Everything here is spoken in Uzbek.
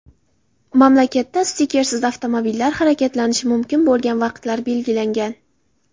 Mamlakatda stikersiz avtomobillar harakatlanishi mumkin bo‘lgan vaqtlar belgilangan .